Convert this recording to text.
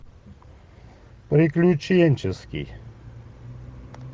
приключенческий